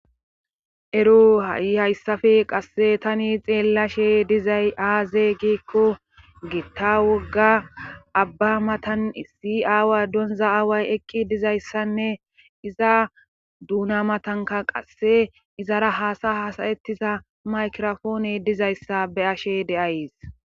ero ha7i hayssafe qasse tani xeellashe dizay aaze giekko giitta wogga abba matan issi aawa donza aaway ekki dizayssanne iza duuna matanka qasse izara haasa hasayettiza maykrafoone dizayssa be ashe deays